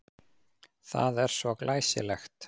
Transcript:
Það er svo glæsilegt.